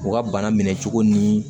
U ka bana minɛ cogo ni